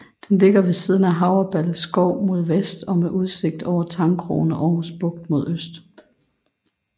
Den ligger ved siden af Havreballe Skov mod vest og med udsigt over Tangkrogen og Aarhus Bugt mod øst